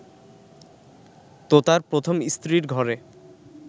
তোতার প্রথম স্ত্রীর ঘরে